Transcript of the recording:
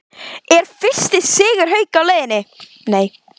ER FYRSTI SIGUR HAUKA Á LEIÐINNI???